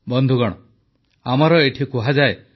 ବନ୍ଧୁଗଣ ଆମର ଏଠି କୁହାଯାଏ